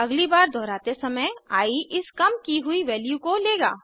अगली बार दोहराते समय आई इस काम की हुई वैल्यू को लेगा